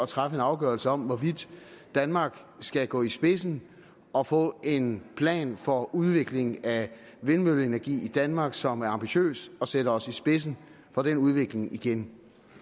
træffe en afgørelse om hvorvidt danmark skal gå i spidsen og få en plan for udviklingen af vindmølleenergi i danmark som er ambitiøs og sætter os i spidsen for den udvikling igen